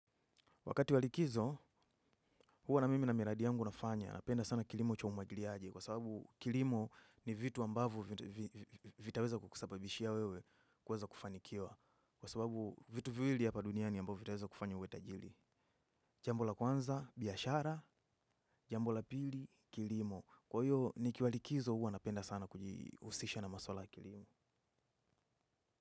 Wakati wa likizo, huwa na mimi na miradi yangu nafanya. Napenda sana kilimo cha umwagiliaji kwa sababu kilimo ni vitu ambavyo vitaweza kukusababishia wewe kuweza kufanikiwa. Kwa sababu vitu viwili hapa duniani ambavyo vitaweza kufanya uwe tajiri. Jambo la kwanza, biashara, jambo la pili, kilimo. Kwa hiyo, nikiwa likizo huwa napenda sana kujihusisha na maswala ya kilimo.